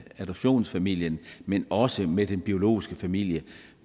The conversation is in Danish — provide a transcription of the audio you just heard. adoptionsfamilien men også med den biologiske familie